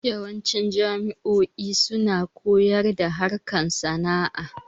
Yawanci jamo'o'i suna koyar da harkan sana'a